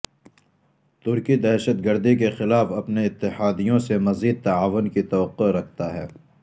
ترکی دہشت گردی کے خلاف اپنے اتحادیوں سے مزید تعاون کی توقع رکھتا ہے